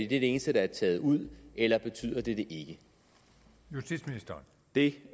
det eneste der er taget ud eller betyder det det